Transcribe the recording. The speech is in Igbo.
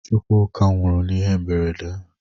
Chukwuka nwụrụ n'ihe mberede.